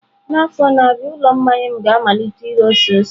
N'afọ na-abịa, ụlọ mmanya m ga-amalite ire ose ose.